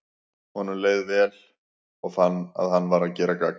Honum leið leið vel, og fann að hann var að gera gagn.